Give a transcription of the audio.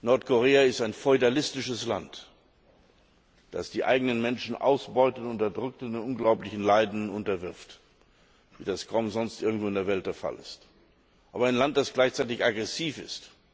Nordkorea ist ein feudalistisches Land, das die eigenen Menschen ausbeutet, unterdrückt und unglaublichen Leiden unterwirft, wie das kaum sonst irgendwo in der Welt der Fall ist, aber ein Land, das gleichzeitig aggressiv ist.